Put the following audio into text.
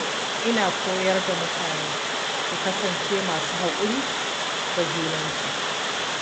Ina koyar da mutane su kasance masu haƙuri da junansu.